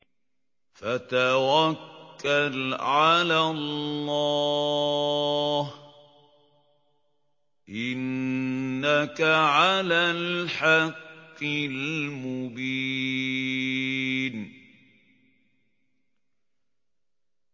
فَتَوَكَّلْ عَلَى اللَّهِ ۖ إِنَّكَ عَلَى الْحَقِّ الْمُبِينِ